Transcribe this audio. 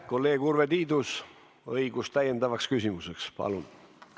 Kolleeg Urve Tiidus, täiendav küsimus, palun!